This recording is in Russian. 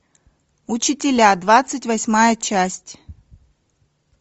учителя двадцать восьмая часть